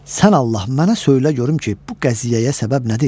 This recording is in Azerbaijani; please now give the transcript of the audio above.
"Sən Allah mənə söylə görüm ki, bu qəziyyəyə səbəb nədir?